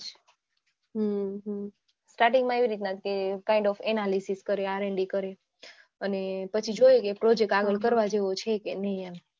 હમ્મ starting માં એ રીતનાજ કે kind of analisys કરી RND કરી અને પછી જોય કે project આગળ કરવા જેવો છે કે નઈ એમ